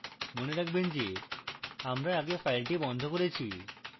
মনে রাখবেন যে আমরা আগে file বন্ধ করেছি